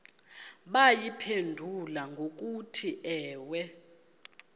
bayiphendule ngokuthi ewe